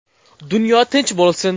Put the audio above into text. Dunyo tinch bo‘lsin!